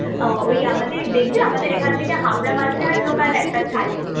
ওই আমাদের দেখবি আমাদের এখান থেকে হাবড়া মাঝেরহাট local একটা ছাড়ে।